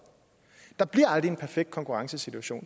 der bliver aldrig en perfekt konkurrencesituation